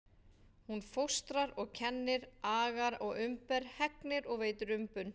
Hún fóstrar og kennir, agar og umber, hegnir og veitir umbun.